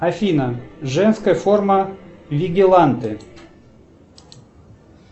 афина женская форма вигиланте